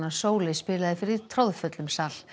Sóley spilaði fyrir troðfullum sal